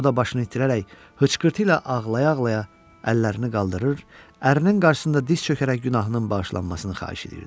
O da başını itirərək hıçqırtı ilə ağlaya-ağlaya əllərini qaldırır, ərinin qarşısında diz çökərək günahının bağışlanmasını xahiş eləyirdi.